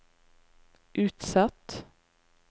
utsatt